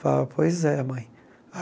Falava, pois é, mãe.